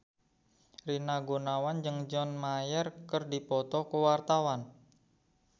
Rina Gunawan jeung John Mayer keur dipoto ku wartawan